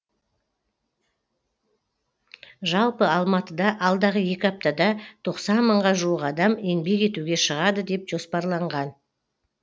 жалпы алматыда алдағы екі аптада тоқсан мыңға жуық адам еңбек етуге шығады деп жоспарланған